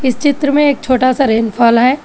इस चित्र में एक छोटा सा रेनफॉल है।